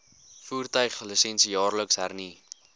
voertuiglisensie jaarliks hernu